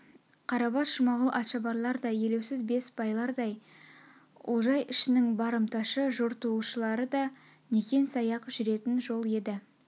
қарабас жұмағұлдай атшабарлар да елеусіз бес байлардай олжай ішінің барымташы жортуылшылары да некен-саяқ жүретін жол еді